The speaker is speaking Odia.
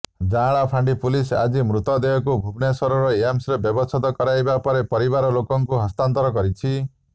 ଯାଁଳା ଫାଣ୍ଡି ପୁଲିସ ଆଜି ମୃତଦେହକୁ ଭୁବନେଶ୍ବର ଏମ୍ସରେ ବ୍ୟବଚ୍ଛେଦ କରାଇବା ପରେ ପରିବାର ଲୋକଙ୍କୁ ହସ୍ତାନ୍ତର କରିଛି